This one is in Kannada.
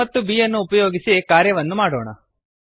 a ಮತ್ತು b ಯನ್ನು ಉಪಯೋಗಿಸಿ ಕಾರ್ಯವನ್ನು ಮಾಡೋಣ